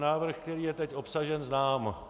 Návrh, který je teď obsažen, znám.